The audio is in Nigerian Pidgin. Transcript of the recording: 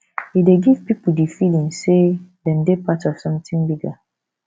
e dey give pipo di feeling sey dem dey part of something bigger